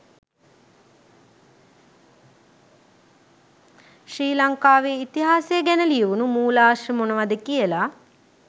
ශ්‍රී ලංකාවේ ඉතිහාසය ගැන ලියවුනු මුලාශ්‍ර මොනවද කියල.